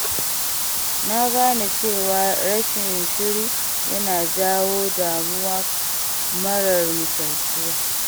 Na gane cewa rashin shiri yana jawo damuwa marar misaltuwa.